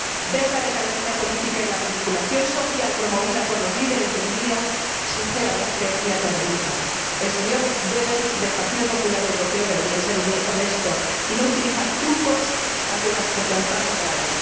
Ver la decadencia política y la manipulación social promovida por los líderes de Hungría, sinceramente, me aterroriza. El señor Weber, del Partido Popular Europeo, debería ser honesto y no utilizar trucos ante una situación tan grave.